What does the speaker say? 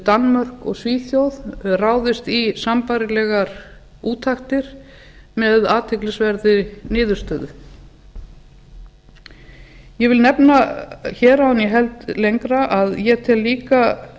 danmörk og svíþjóð ráðist í sambærilegar úttektir með athyglisverðri niðurstöðu ég vil nefna hér áður en ég held lengra að ég tel líka